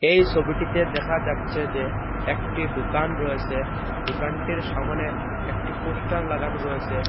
এই সবিটিতে দেখা যাচ্ছে যে একটি দুকান রয়েসে দোকানটির সামোনে একটি পোস্টার লাগানো রয়েসে।